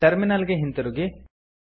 terminal ಗೆ ಹಿಂತಿರುಗಿ